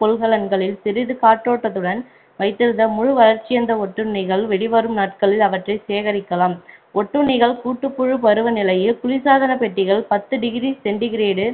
கொள்கலங்களில் சிறிது காற்றோட்டத்துடன் வைத்திருந்தால் முழு வளர்ச்சியடைந்த ஒட்டுண்ணிகள் வெளிவரும் நாட்களில் அவற்றைச் சேகரிக்கலாம் ஒட்டுண்ணிகள் கூட்டுப்புழு பருவ நிலையில் குளிர் சாதனப்பெட்டிகள் பத்து degree centigrade